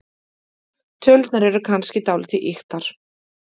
Tölurnar eru kannski dálítið ýktar.